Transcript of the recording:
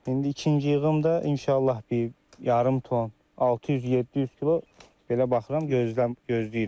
İndi ikinci yığımda inşallah bir yarım ton, 600-700 kilo belə baxıram, gözləyirəm.